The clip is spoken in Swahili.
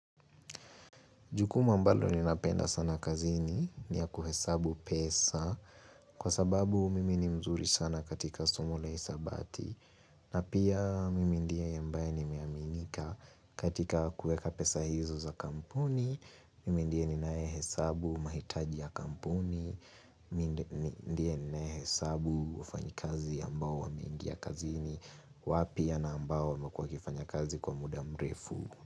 Jukumu ambalo ni napenda sana kazini ni ya kuhesabu pesa. Kwa sababu mimi ni mzuri sana katika somo la hisabati. Na pia mimi ndiye ambaye nimeaminika katika kuweka pesa hizo za kampuni. Mimi ndiye ninaye hesabu mahitaji ya kampuni. Mimi ndiye ninaye hesabu wafanyikazi ambao wameingia kazini. Wao pia na ambao wamekua wamekua wakifanya kazi kwa muda mrefu.